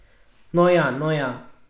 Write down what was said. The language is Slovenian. No ja, no ja ...